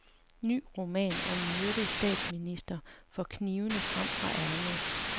Ny roman om myrdet statsminister får knivene frem fra ærmet.